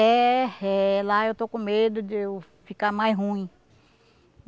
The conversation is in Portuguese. É, é lá eu estou com medo de eu ficar mais ruim.